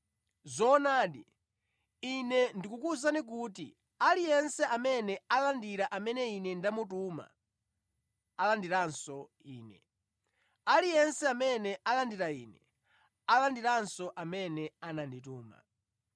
Zoonadi, Ine ndikukuwuzani kuti aliyense amene alandira amene Ine ndamutuma, alandiranso Ine. Aliyense amene alandira Ine, alandiranso amene anandituma.”